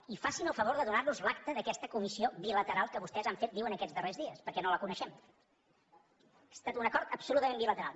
i facin el favor de donarnos l’acta d’aquesta comissió bilateral que vostès han fet diuen aquests darrers dies perquè no la coneixem ha estat un acord absolutament bilateral